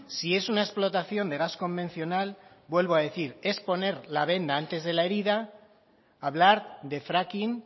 si es una explotación de gas convencional vuelvo a decir es poner la venda antes de la herida hablar de fracking